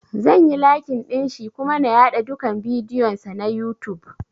Zan yi lakin ɗinshi kuma na yaɗa dukan bidiyon sa na youtube